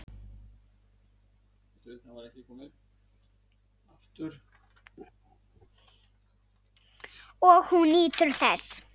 Og hún nýtur þess.